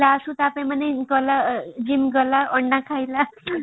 last କୁ ତା ପାଇଁ ମାନେ ଗଲା gym ଗଲା ଅଣ୍ଡା ଖାଇଲା